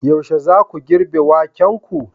Yaushe zaku girbe wakenku?